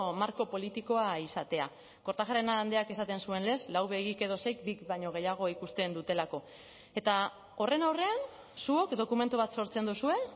marko politikoa izatea kortajarena andreak esaten zuen lez lau begik edo seik bik baino gehiago ikusten dutelako eta horren aurrean zuok dokumentu bat sortzen duzue